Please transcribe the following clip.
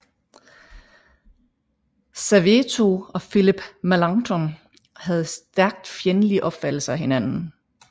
Serveto og Philip Melanchthon havde stærkt fjendtlige opfattelser af hinanden